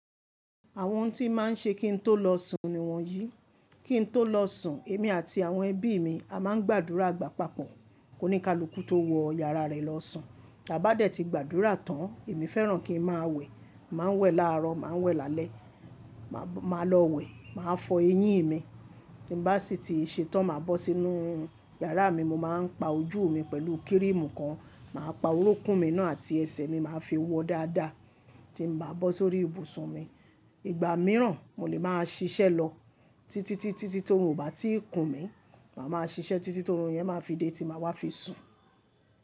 Àwọn ohun tí máa ń ṣe kí n tó lọ sùn ni wọ́nyí. Kí n tó lọ sùn, èmi àti àwọn ẹbí mi a máa ń gbàdúrà gbà papọ̀ kó ní kaluku tó wọ yàrá rẹ̀ lọ sùn. Bá dẹ̀ ti gbàdúrà tán, èmi fẹ́ràn kí n máa wẹ̀. Màá wẹ̀ láàrọ̀, màá wẹ̀ lálẹ́, màá lọ wẹ̀, màá fọ eyín mi. Kí bá sì ti ṣe tán, màá bọ́ sínú yàrá mi, mo máa ń pa ojú mi pẹ̀lú kírímù kan. Màá pa orúnkún mi náà àti ẹsẹ̀ mi, màá fi wọ dáadáa. Tí n bá bọ́ sórí ibùsùn mi, ìgbà mìíràn mo lè máa ṣiṣẹ́ lọ títí, títí tòrun ò bá tíì kùn mí, màá máa ṣiṣẹ́ títí tòrun yẹn máa fi dé tí màá wá fi sùn.